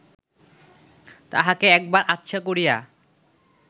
তাহাকে একবার আচ্ছা করিয়া